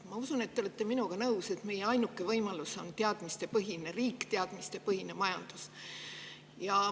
Ma usun, et te olete minuga nõus, et meie ainuke võimalus on teadmistepõhine riik, teadmistepõhine majandus.